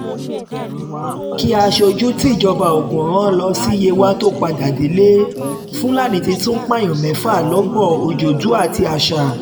kí aṣojú tíjọba ogun rán lọ um sí yewa tóo padà délé fúlàní ti tún pààyàn mẹ́fà lọ́gbọ̀n ọjọ́dù um àti ásà